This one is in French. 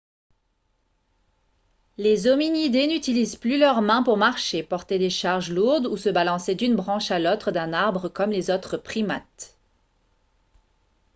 les hominidés n'utilisent plus leurs mains pour marcher porter des charges lourdes ou se balancer d'une branche à l'autre d'un arbre comme les autres primates